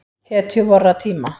Hetju vorra tíma.